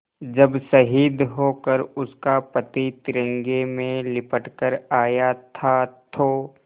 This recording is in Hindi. जब शहीद होकर उसका पति तिरंगे में लिपट कर आया था तो